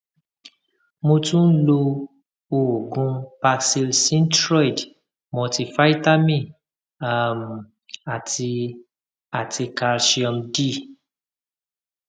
mo tún ń lo oògùn paxil synthroid multi vitamin um àti àti calcium d